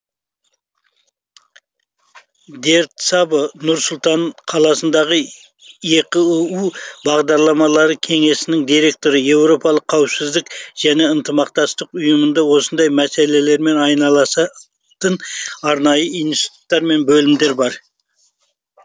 дьердь сабо нұр сұлтан қаласындағы еқыұ бағдарламалары кеңсесінің директоры еуропалық қауіпсіздік және ынтымақтастық ұйымында осындай мәселелермен айналысатын арнайы институттар мен бөлімдер бар